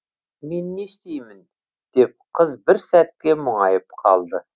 мен не істеймін деп қыз бір сәтке мұңайып қалды